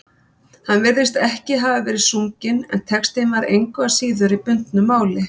Hann virðist ekki hafa verið sunginn, en textinn var engu að síður í bundnu máli.